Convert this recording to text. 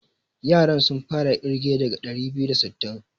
Yaran sun fara ƙirge daga ɗari biyu da sittin.